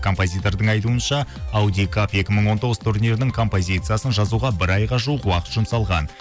композитордың айтуынша аудикап екі мың он тоғыз турнирінің композициясын жазуға бір айға жуық уақыт жұмсалған